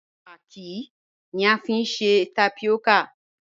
Paki ni à fiń sẹ̀ tápíọ́kà.